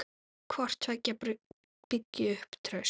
Hvort tveggja byggi upp traust.